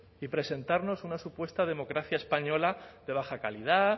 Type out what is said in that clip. y presentarnos una supuesta democracia española de baja calidad